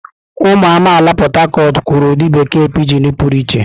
Ụmụ amaala Port Harcourt kwuru ụdị bekee pijin pụrụ iche.